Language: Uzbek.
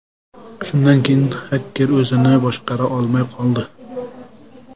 Shundan keyin xaker o‘zini boshqara olmay qoldi.